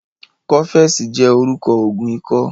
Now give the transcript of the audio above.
Kọ́fẹ̀sì jẹ́ orúkọ Ògùn ikọ́